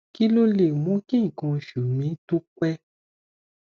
kí ló lè mú kí nkan osu mi tó pẹ